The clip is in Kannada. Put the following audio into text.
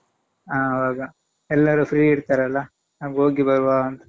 ಹ ಆವಾಗ ಎಲ್ಲರೂ free ಇರ್ತಾರಲ್ಲಾ ಆಗ್ ಹೋಗಿ ಬರುವಾಂತ.